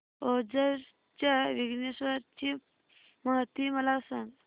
ओझर च्या विघ्नेश्वर ची महती मला सांग